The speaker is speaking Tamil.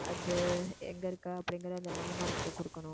அது எங்க இருக்க அப்படிங்கிற அந்த landmark அ கொடுக்கணும்